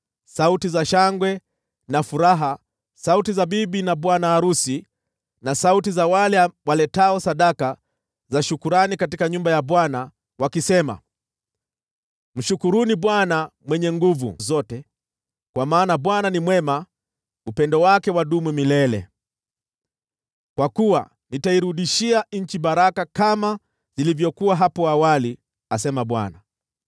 sauti za shangwe na furaha, sauti za bibi na bwana arusi, na sauti za wale waletao sadaka za shukrani katika nyumba ya Bwana , wakisema, “‘ “Mshukuruni Bwana Mwenye Nguvu Zote, kwa maana Bwana ni mwema; upendo wake wadumu milele.” Kwa kuwa nitairudishia nchi baraka kama zilivyokuwa hapo awali,’ asema Bwana .